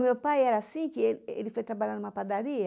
O meu pai era assim, que ele ele foi trabalhar em uma padaria.